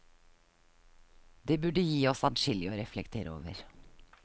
Det burde gi oss adskillig å reflektere over.